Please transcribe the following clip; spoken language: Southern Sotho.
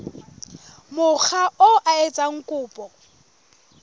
mokga oo a etsang kopo